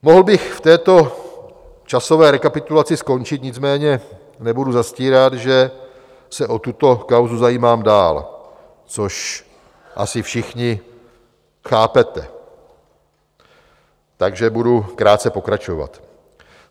Mohl bych v této časové rekapitulaci skončit, nicméně nebudu zastírat, že se o tuto kauzu zajímám dál, což asi všichni chápete, takže budu krátce pokračovat.